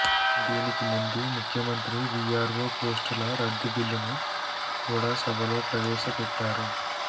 దీనికి ముందు ముఖ్యమంత్రి వీఆర్వో పోస్టుల రద్దు బిల్లును కూడా సభలో ప్రవేశపెట్టారు